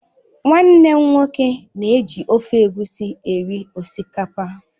Nwannem nwoke na-ji ofe Egusi eri osikapa